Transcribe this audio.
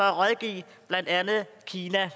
at rådgive blandt andet kina